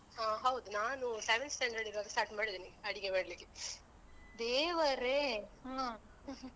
ಹ ಹೌದು ನಾನು seventh standard ಇರುವಾಗ start ಮಾಡಿದ್ದೇನೆ ಅಡಿಗೆ ಮಾಡ್ಲಿಕ್ಕೆ. ದೇವರೇ ಹ್ಮೂ